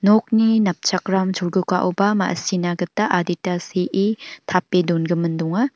nokni napchakram cholgugaoba ma·sina gita adita se·e tape dongimin donga.